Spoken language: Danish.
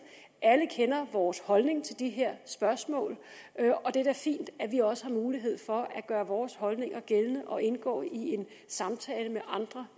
alle kender vores holdning til de her spørgsmål og det er da fint at vi også har mulighed for at gøre vores holdninger gældende og indgå i en samtale med andre